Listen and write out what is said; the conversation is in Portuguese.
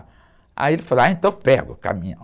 Aí ele falou, ahy, então pega o caminhão.